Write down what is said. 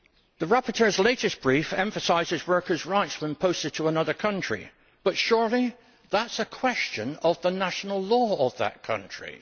The rapporteur's latest brief emphasises workers' rights when posted to another country, but surely that is a question of the national law of that country.